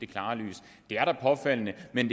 klare lys det er da påfaldende man